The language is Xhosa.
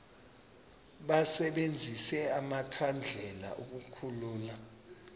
basebenzise amakhandlela ukukhulula